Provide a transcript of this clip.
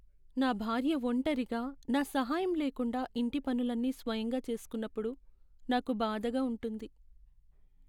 నా భార్య ఒంటరిగా నా సహాయం లేకుండా ఇంటి పనులన్నీ స్వయంగా చేసుకున్నప్పుడు నాకు బాధగా ఉంటుంది.